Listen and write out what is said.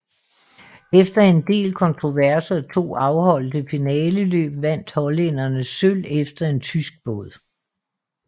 Efter en del kontroverser og to afholdte finaleløb vandt hollænderne sølv efter en tysk båd